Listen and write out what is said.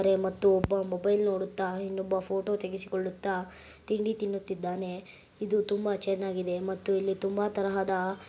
ಮತ್ತು ಒಬ್ಬ ಮೊಬೈಲ್ ನೋಡುತ್ತಾ ಇನ್ನೊಬ್ಬ ಫೊಟೊ ತೆಗೆಸಿಕೊಳ್ಳುತ್ತಾ ತಿಂಡಿ ತಿನ್ನುತಿದ್ದಾನೆ ಇದು ತುಂಬಾ ಚನ್ನಾಗಿದೆ ಮತ್ತು ಇಲ್ಲಿ ತುಂಬಾ ತರಹದ --